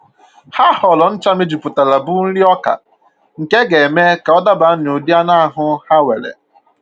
Ha họọrọ ncha mejupụtara bụ nriọka nke a ga-eme ka ọ daba n'ụdị anụ ahụ ha nwere